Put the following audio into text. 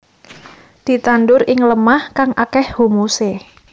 Ditandur ing lemah kang akéh humusé